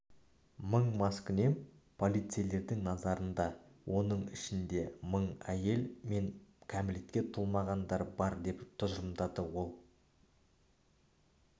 мың маскүнем полицейлердің назарында оның ішінде мың әйел мен кәмелетке толмаған бар деп тұжырымдады ол